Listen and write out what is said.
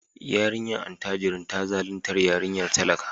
Yarinyar attajirin ta zaluntar yarinyar talaka.